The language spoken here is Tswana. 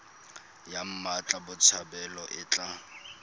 ya mmatla botshabelo e tla